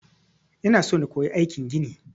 Ina so na koyi aikin gini.